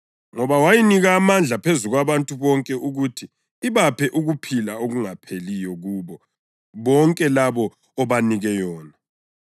Ngoba wayinika amandla phezu kwabantu bonke ukuthi ibaphe ukuphila okungapheliyo kubo bonke labo obanike yona.